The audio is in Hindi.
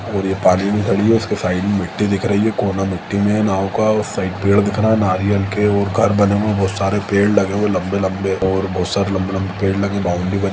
और ये पानी में खड़ी है उसके साइड में मिट्टी दिख रही है कोना मिट्टी में नाव का और उस साइड पेड़ दिख रहा है नारियल के और घर बने हुए है बहुत सारे पेड़ लगे हुए है लंबे-लंबे और बहुत सारे लंबे-लंबे पेड़ लगे है बाउंड्री बनी--